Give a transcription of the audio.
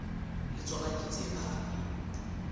le tsona ke tse phahameng